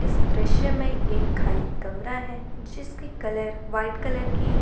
दृश्य में एक खाली कमरा है जिसके कलर व्हाइट कलर की है।